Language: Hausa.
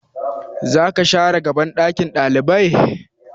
Zaka share gaban ɗakin ɗalibai?